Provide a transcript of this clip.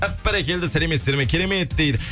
әп бәрекелді сәлеметсіздер ме керемет дейді